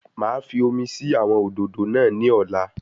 Màá fi omi sí àwọn òdòdó náà ní ọ̀la